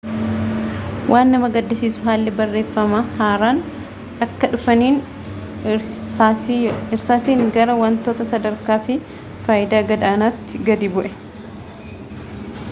waan nama gaddisiisu haalli barreeffamaa haaraan akka dhufaniin irsaasiin gara wantoota sadarkaa fi faayidaa gad aanaatti gadi bu'e